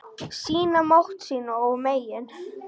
Sýna mátt sinn og megin.